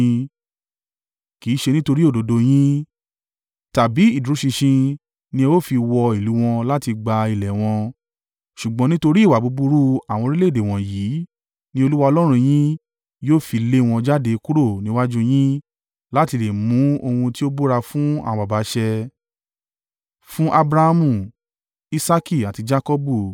Kì í ṣe nítorí òdodo yín, tàbí ìdúró ṣinṣin ni ẹ ó fi wọ ìlú wọn lọ láti gba ilẹ̀ wọn, ṣùgbọ́n nítorí ìwà búburú àwọn orílẹ̀-èdè wọ̀nyí ni Olúwa Ọlọ́run yín yóò fi lé wọn jáde kúrò níwájú u yín láti lè mú ohun tí ó búra fún àwọn baba ṣẹ: fún Abrahamu, Isaaki àti Jakọbu.